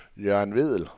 Jørgen Vedel